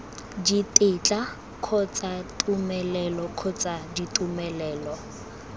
ditetla kgotsa tumelelo kgotsa ditumelelo